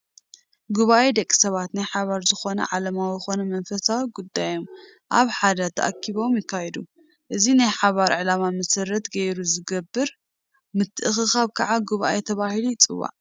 ጉባኤ-ደቂ ሰባት ናይ ሓባር ዝኾነ ዓለማዊ ኮነ መንፈሳዊ ጉዳዮም ኣብ ሓደ ተኣኪቦም ይካይዱ፡፡ እዚ ናይ ሓባር ዕላማ መሰረት ገይሩ ዝግበር ምትእኽኻብ ከዓ ጉባኤ ተባሂሉ ይፅዋዕ፡፡